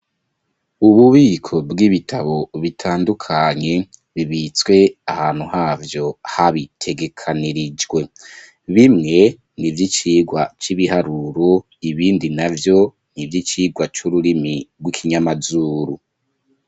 Ububiko bw'ibitabo bitandukanye, bibitswe ahantu havyo, habitegekanirijwe; bimwe ni ivy'icigwa c'ibiharuro, ibindi navyo ni ivy'icigwa c'ururimi rw'ikinyamazuru.